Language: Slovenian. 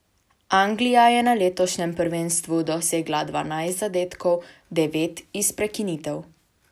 Anglija je na letošnjem prvenstvu dosegla dvanajst zadetkov, devet iz prekinitev.